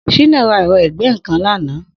Shina rà ẹ̀rọ̀ igbẹ̀nnkán làná